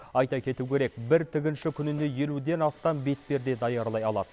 айта кету керек бір тігінші күніне елуден астам бетперде даярлай алады